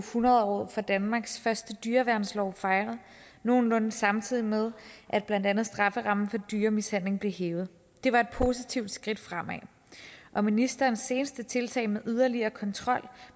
hundredåret for danmarks første dyreværnslov fejret nogenlunde samtidig med at blandt andet strafferammen for dyremishandling blev hævet det var et positivt skridt fremad og ministerens seneste tiltag med yderligere kontrol